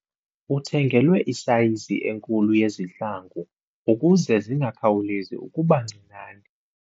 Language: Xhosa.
Uthengelwe isayizi enkulu yezihlangu ukuze zingakhawulezi ukuba ncinane.